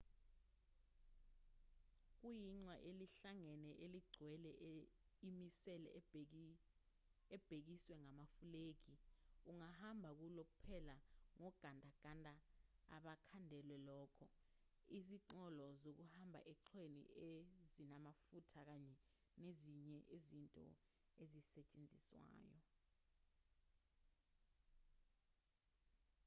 kuyiqhwa elihlangene eligcwele imisele ebekiswe ngamafulegi ungahamba kulo kuphela ngogandaganda abakhandelwe lokho izinqola zokuhamba eqhweni ezinamafutha kanye nezinye izinto ezisetshenziswayo